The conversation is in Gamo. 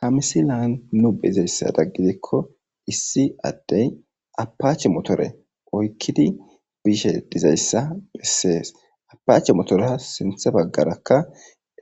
ha misilaan nu be'izayisada gidikko issi adeyi motore gidikko issi addey apaache motore oykkidi biishe dizayssa bessees apaache motorea sinthe baggarakka